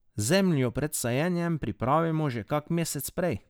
Zemljo pred sajenjem pripravimo že kak mesec prej.